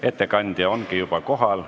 Ettekandja ongi juba kohal.